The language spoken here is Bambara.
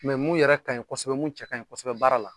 mun yɛrɛ ka ɲi kɔsɔbɛ ,mun yɛrɛ cɛ ka ɲi kɔsɔbɛ baara la